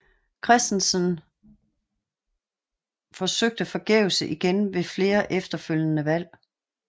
Christiansenog forsøgte forgæves igen ved flere efterfølgende valg